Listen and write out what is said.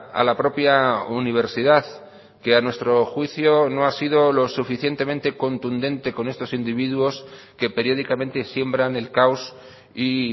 a la propia universidad que a nuestro juicio no ha sido lo suficientemente contundente con estos individuos que periódicamente siembran el caos y